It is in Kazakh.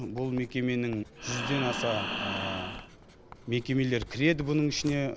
бұл мекеменің жүзден аса мекемелер кіреді бұның ішіне